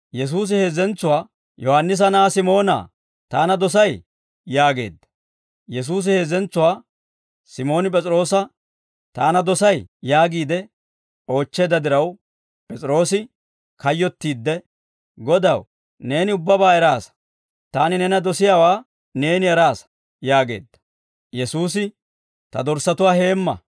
Yesuusi heezzentsuwaa, «Yohaannisa na'aa Simoonaa, Taana dosay?» yaageedda. Yesuusi heezzentsuwaa Simooni P'es'iroosa, «Taana dosay?» yaagiide oochcheedda diraw, P'es'iroose kayyottiidde, «Godaw, neeni ubbabaa eraasa; taani neena dosiyaawaa neeni eraasa» yaageedda. Yesuusi, «Ta dorssatuwaa heemma.